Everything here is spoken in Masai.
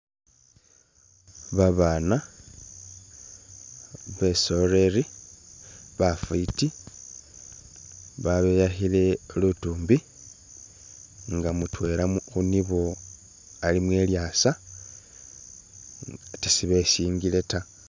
Babana besoleli bafiti babeyakhile lutumbi nga mutwela khunibo alimo ilyasa atee sibesingile ta.